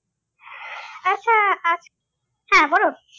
আচ্ছা আহ হ্যাঁ বলুন।